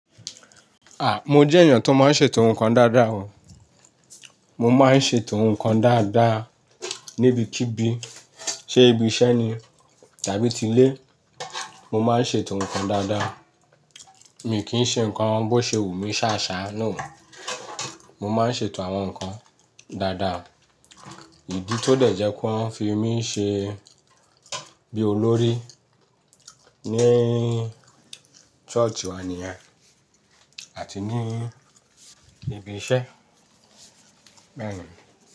Mo jẹ́ èèyàn tó máa ń ṣe ètò nkan dáadáa o. Mo máa ń ṣe ètò nǹkan dáadáa níbikíbi, ṣe ibi iṣẹ́ ni tàbí ti ilé, mo má ń ṣe ètò nǹkan dáadáa. Mi kì í ṣe nǹkan bó ṣe wù mí sásá náà o. Mo má ń ṣe ètò àwọn nǹkan dáadáa. Idí tó dẹ̀ jẹ́ kí wọ́n fi mí ṣe bí olórí ní church wá níyen àti ní ibi iṣẹ́. Bẹ̀eni.